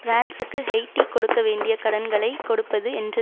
பிரான்ஸுக்கு Haiti கொடுக்க வேண்டிய கடன்களை கொடுப்பது என்று